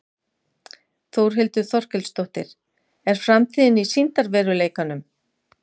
Þórhildur Þorkelsdóttir: Er framtíðin í sýndarveruleikanum?